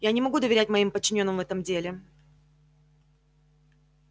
я не могу доверять моим подчинённым в этом деле